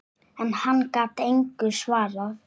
En hann gat engu svarað.